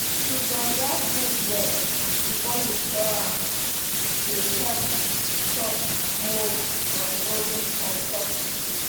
to sun-dry food well before you store am dey help stop mould from growing on top the food.